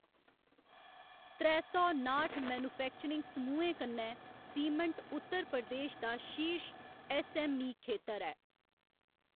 त्रै सौ नाठ मैन्युफैक्चरिंग समूहें कन्नै सीमैंट्ट उत्तर प्रदेश दा शीर्श ऐस्स.ऐम्म.ई. खेतर ऐ।